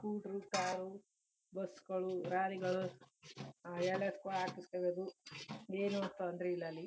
ಕೂಟ್ರು car bus ಗಳು lorry ಗಳು ಎಲ್ಲದಕು ಹಾಕ್ಸ್ಕೋಬಹುದು. ಏನು ತೊಂದರೆ ಇಲ್ಲ ಅಲ್ಲಿ .